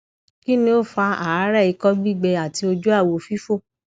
kini o fa aare iko gbigbe ati oju awo fifo